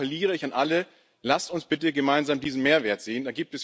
Da appelliere ich an alle Lasst uns bitte gemeinsam diesen Mehrwert sehen.